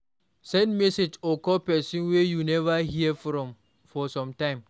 Send message or call persin wey you never hear from for some time